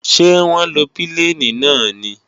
Ṣé wọ́n lo pílènì náà ni?